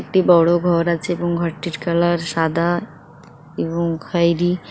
একটি বড় ঘর আছে এবং ঘরটির কালার সাদা এবং খয়েরী।